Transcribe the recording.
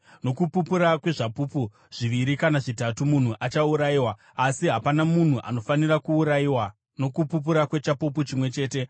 Nokupupura kwezvapupu zviviri kana zvitatu munhu achaurayiwa, asi hapana munhu anofanira kuurayiwa nokupupura kwechapupu chimwe chete.